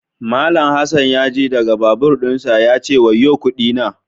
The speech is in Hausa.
Mallam Hassan ya ji daga babur dinsa ya ce "wayo kudi na"